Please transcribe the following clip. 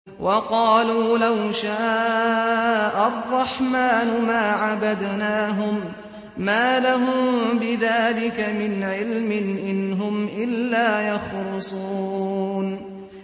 وَقَالُوا لَوْ شَاءَ الرَّحْمَٰنُ مَا عَبَدْنَاهُم ۗ مَّا لَهُم بِذَٰلِكَ مِنْ عِلْمٍ ۖ إِنْ هُمْ إِلَّا يَخْرُصُونَ